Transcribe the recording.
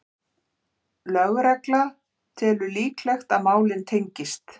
Lögregla telur líklegt að málin tengist